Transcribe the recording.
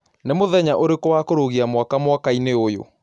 Nĩ mũthenya ũrĩkũ wa kũrũgĩa mwaka mwerũ mwakaĩnĩ ũyũ